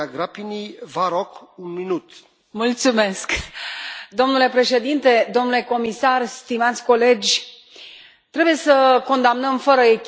Domnule președinte, domnule comisar, stimați colegi, trebuie să condamnăm fără echivoc orice formă de abuz sau exploatare sexuală a copiilor.